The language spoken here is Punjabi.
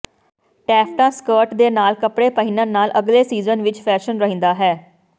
ਟੈਂਫਟਾ ਸਕਰਟ ਦੇ ਨਾਲ ਕੱਪੜੇ ਪਹਿਨਣ ਨਾਲ ਅਗਲੇ ਸੀਜ਼ਨ ਵਿੱਚ ਫੈਸ਼ਨ ਰਹਿੰਦਾ ਹੈ